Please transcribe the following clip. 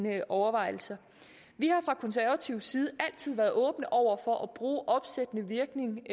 i overvejelserne vi har fra konservativ side altid været åbne over for at bruge opsættende virkning